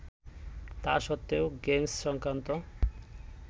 তা সত্বেও গেমস সংক্রান্ত